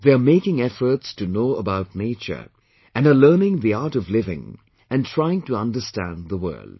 They are making efforts to know about nature and are learning the art of living and trying to understand the world